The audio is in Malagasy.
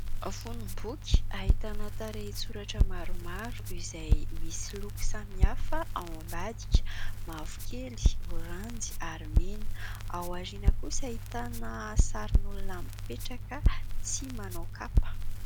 Fonom-boky ahitana tarehitsoratra maromaro izay misy loko samihafa ao ambadika mavokely, oranjy, ary mena. Aoriana kosa ahitana sarin'olona mipetraka tsy manao kapa.